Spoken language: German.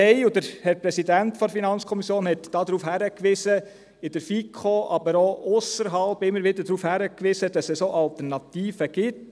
Wir wiesen – und der Präsident der FiKo wies darauf hin – in der FiKo, aber auch ausserhalb, immer wieder darauf hin, dass es auch Alternativen gibt.